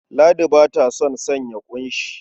Ladi ba ta son sanya ƙunshi.